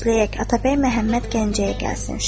Gözləyək, Atabəy Məhəmməd Gəncəyə gəlsin.